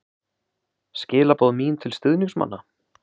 Skilaboð mín til stuðningsmanna?